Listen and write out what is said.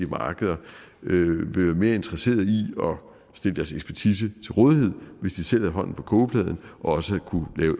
markeder vil være mere interesseret i at stille sin ekspertise til rådighed hvis de selv har hånden på kogepladen og også at kunne lave